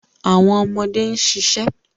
Awọn ọmọde n ṣiṣẹ